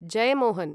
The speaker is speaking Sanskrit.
जेयमोहन्